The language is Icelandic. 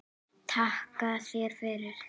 Takka þér fyrir